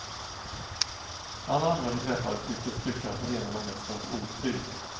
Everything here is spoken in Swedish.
Alla andra vi träffade tycktes tycka att renarna mest var ett otyg.